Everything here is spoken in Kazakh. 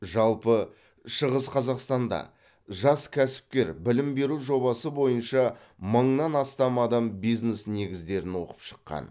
жалпы шығыс қазақстанда жас кәсіпкер білім беру жобасы бойынша мыңнан астам адам бизнес негіздерін оқып шыққан